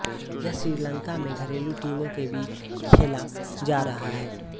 यह श्रीलंका में घरेलू टीमों के बीच खेला जा रहा है